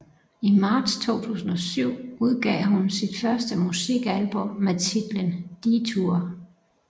I marts 2007 udgav hun sit første musikalbum med titlen Detour